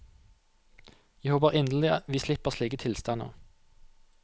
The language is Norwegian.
Jeg håper inderlig vi slipper slike tilstander.